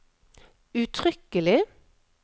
uttrykkelig